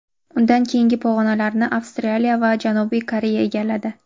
Undan keyingi pog‘onalarni Avstraliya va Janubiy Koreya egalladi.